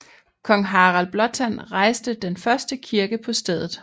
Kong Harald Blåtand rejste den første kirke på stedet